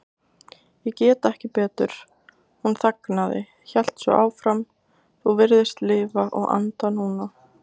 Ég get ekki betur. hún þagnaði, hélt svo áfram, þú virðist lifa og anda núna.